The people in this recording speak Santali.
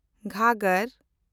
ᱜᱷᱚᱜᱽᱜᱚᱨ